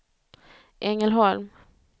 Ängelholm